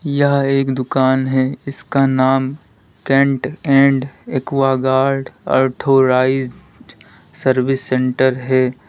यह एक दुकान है इसका नाम Kent and Aquaguard authorized service centre है।